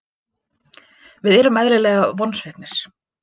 Við erum eðlilega vonsviknir.